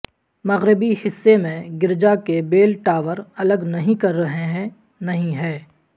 مغربی حصے میں گرجا کے بیل ٹاور الگ نہیں کر رہے ہیں نہیں ہے